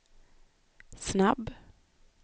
snabb